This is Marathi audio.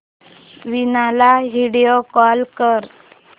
वीणा ला व्हिडिओ कॉल कर